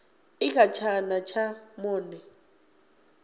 i kha tshana tsha monde